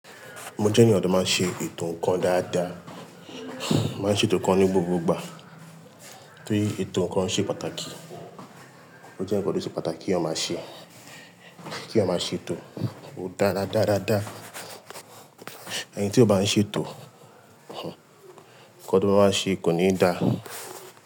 Mo jẹ́ ènìyàn tó máa ṣe ètò ǹkan dáadáa, máa ṣe ètò kan ní gbogbo ìgbà. Ki ètò nǹkan ṣe pàtàkì, o jẹ́ nǹkan tó ṣe pàtàkì kí èèyàn máa ṣe, kí ó máa ṣe ètò ó dára dáradára. Ẹni tí ó bá ń ṣe ètò, nǹkan tó bá wá ṣe kò ní dà.